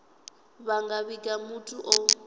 vha nga vhiga muthu o